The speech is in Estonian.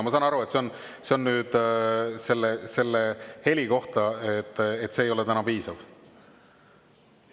Ma saan aru, et see on heli kohta, et see ei ole piisavalt.